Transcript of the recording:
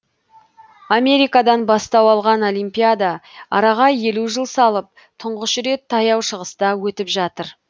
америкадан бастау алған олимпиада араға елу жыл салып тұңғыш рет таяу шығыста өтіп жатыр